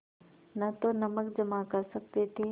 न तो नमक जमा कर सकते थे